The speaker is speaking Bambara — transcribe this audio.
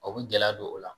O bɛ gɛlɛya don o la